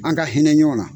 An ka hinɛ ɲɔgɔn na